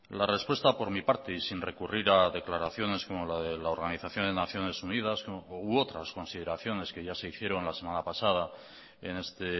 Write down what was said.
la respuesta por mi parte y sin recurrir a declaraciones como la de la organización de naciones unidas u otras consideraciones que ya se hicieron la semana pasada en este